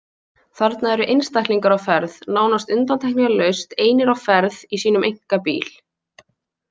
Þarna eru einstaklingar á ferð, nánast undantekningarlaust einir á ferð í sínum einkabíl.